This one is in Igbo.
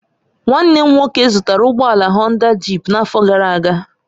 Nwanne m nwoke zụtara ụgbọ ala Honda jịp n'afọ gara aga